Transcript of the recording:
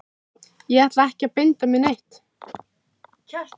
Ég ætla ekki að binda mig neitt.